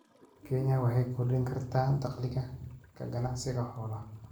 Kenya waxay ku kordhin kartaa dakhliga ka ganacsiga xoolaha.